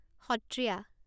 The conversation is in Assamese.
সত্ৰিয়া